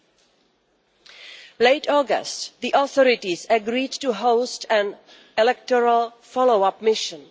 In late August the authorities agreed to host an electoral follow up mission.